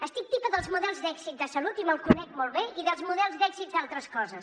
estic tipa dels models d’èxit de salut i me’l conec molt bé i dels models d’èxit d’altres coses